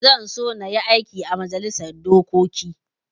Zan so in yi aiki ã majalisar dokoki.